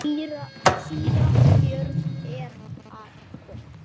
Síra Björn er að koma!